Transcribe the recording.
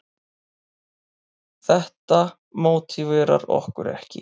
Þetta mótiverar okkur ekki.